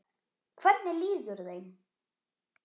Hvernig líður þeim?